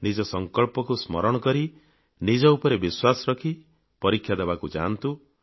ନିଜ ସଂକଳ୍ପକୁ ସ୍ମରଣ କରି ନିଜ ଉପରେ ବିଶ୍ୱାସ ରଖି ପରୀକ୍ଷା ଦେବାକୁ ଯାଆନ୍ତୁ